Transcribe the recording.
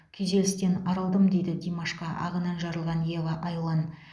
күйзелістен арылдым дейді димашқа ағынан жарылған ева айлан